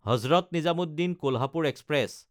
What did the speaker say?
Hazrat নিজামুদ্দিন–কোলহাপুৰ express